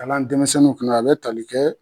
denmisɛnninw kunna a bɛ tali kɛ.